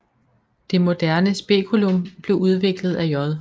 Det moderne speculum blev udviklet af J